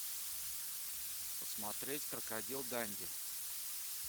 смотреть крокодил данди